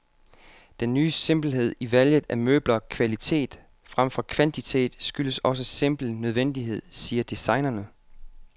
Den ny simpelhed i valget af møbler, kvalitet fremfor kvantitet, skyldes også simpel nødvendighed, siger designerne.